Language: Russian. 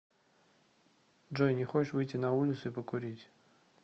джой не хочешь выйти на улицу и покурить